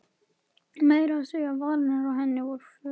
Meira að segja varirnar á henni voru fölar.